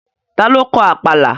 Ta ló kọ Àpàlà?